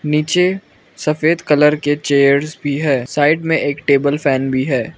पीछे सफेद कलर के चेयर्स भी है साइड में एक टेबल फैन भी है।